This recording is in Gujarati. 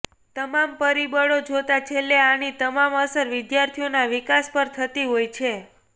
તમામ પરિબળો જોતા છેલ્લે આની તમામ અસર વિદ્યાર્થીઓના વિકાસ પર થતી હોય છે